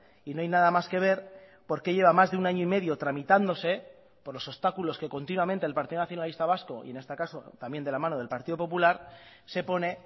y no hay nada más que ver porque lleva más de un año y medio tramitándose por los obstáculos que continuamente el partido nacionalista vasco y en este caso también de la mano del partido popular se pone